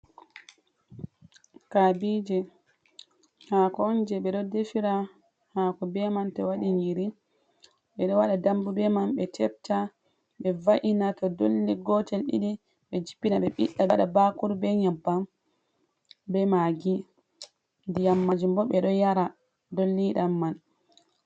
Kabiije haako on, jey ɓe ɗo defira haako be man, to waɗi nyiiri. Ɓe ɗo waɗa dambu be man, ɓe tebta ɓe va’ina to dolli gotel, ɗiɗi ɓe jippina, ɓe ɓiɗɗa ɓe waɗa bakuru be nyebbam, be maagi. Ndiyam maajum bo, ɓe ɗo yara dolliɗam man.